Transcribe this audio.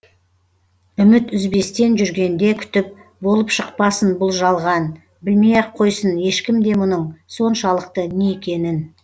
үміт үзбестен жүргенде күтіп болып шықпасын бұл жалған білмей ақ қойсын ешкім де мұның соншалықты не екенін